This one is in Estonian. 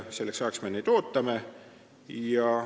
Selleks ajaks me neid ootame.